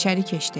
İçəri keçdi.